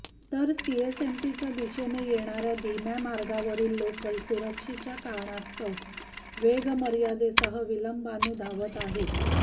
तर सीएसएमटीच्या दिशेने येणाऱ्या धीम्या मार्गावरील लोकल सुरक्षेच्या कारणास्तव वेगमर्यादेसह विलंबाने धावत आहेत